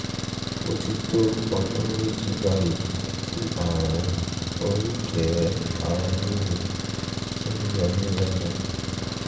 ó ti tó ọdún méjì báyìí tí ààrùn oríkèé-ara-ríro ti ń yọ mí lẹ́nu